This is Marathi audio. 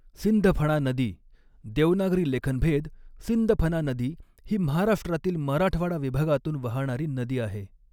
सिंधफणा नदी देवनागरी लेखनभेद सिंदफना नदी ही महाराष्ट्रातील मराठवाडा विभागातून वाहणारी नदी आहे.